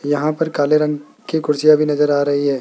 यहां पर काले रंग के कुर्सियां भी नजर आ रही है।